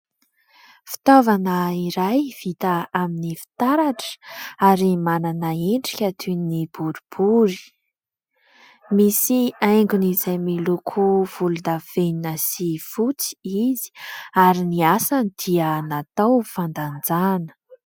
Fitaovana iray vita amin'ny fitaratra ary manana endrika toy ny boribory. Misy haingony izay miloko volondavenona sy fotsy izy ary ny asany dia natao fandanjana.